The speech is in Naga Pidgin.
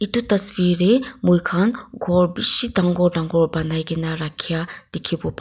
etu tasvir dae moi kan kor bishi tangor tangor bunai kina rakiya tiki bo ba.